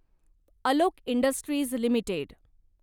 Alok industries limited